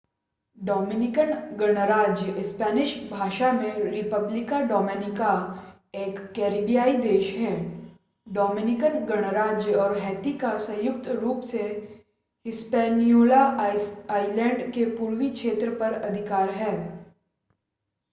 Dominican गणराज्य Spanish भाषा में: república dominicana एक करैबियाई देश है. डोमिनिकन गणराज्य और हैती का संयुक्त रूप से हिस्पैनियोला आइलैंड के पूर्वी क्षेत्र पर अधिकार है